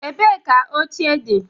Ebee ka oche dị?